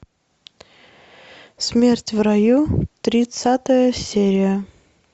смерть в раю тридцатая серия